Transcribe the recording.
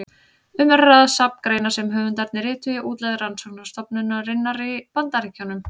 Um er að ræða safn greina sem höfundarnir rituðu í útlegð rannsóknarstofnunarinnar í Bandaríkjunum.